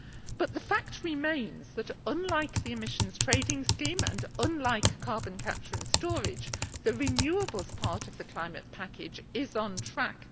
But the fact remains that, unlike the emissions trading scheme, and unlike carbon capture and storage, the renewables part of the climate package is on track.